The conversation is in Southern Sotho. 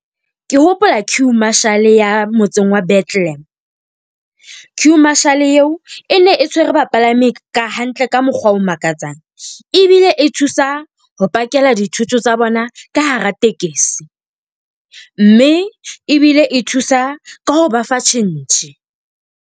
Ke hopola queue marshall ya motseng wa Bethlehem. Queue marshall eo e ne e tshwere bapalami ka hantle ka mokgwa o makatsang ebile e thusa ho pakela dithoto tsa bona ka hara tekesi. Mme ebile e thusa ka ho ba fa tjhentjhe.